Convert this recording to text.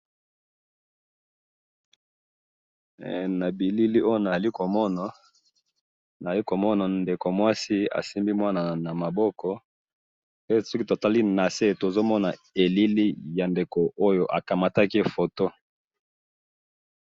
Eh! Nabilili oyo nazali komona, naali komona ndeko mwasi asimbi mwana namaboko, pe soki totali nase tozomona elili ya ndeko oyo akamataki ye foto .